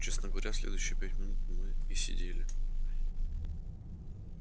честно говоря следующие пять минут мы и сидели